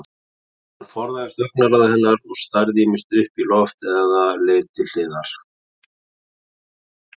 Hann forðaðist augnaráð hennar, starði ýmist upp í loft eða leit til hliðar.